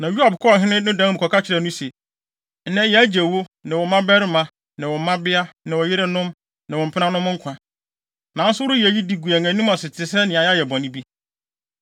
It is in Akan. Na Yoab kɔɔ ɔhene no dan mu kɔka kyerɛɛ no se, “Nnɛ yɛagye wo, ne wo mmabarima, ne wo mmabea, ne wo yerenom, ne wo mpenanom nkwa. Nanso woreyɛ eyi de gu yɛn anim ase te sɛ nea yɛayɛ bɔne bi.